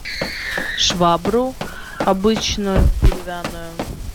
швабру обычную деревянную